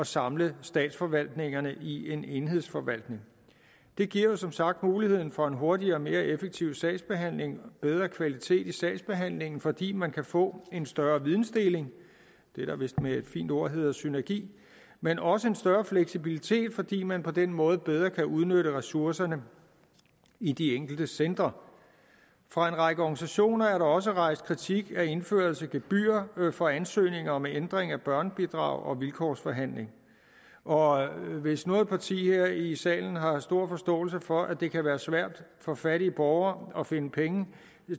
samle statsforvaltningerne i en enhedsforvaltning det giver som sagt muligheden for en hurtigere og mere effektiv sagsbehandling og bedre kvalitet i sagsbehandlingen fordi man kan få en større vidensdeling det der vist med et fint ord hedder synergi men også en større fleksibilitet fordi man på den måde bedre kan udnytte ressourcerne i de enkelte centre fra en række organisationers side er der også rejst kritik af indførelse af gebyrer for ansøgninger om ændring af børnebidrag og vilkårsforhandling og hvis noget parti her i salen har stor forståelse for at det kan være svært for fattige borgere at finde penge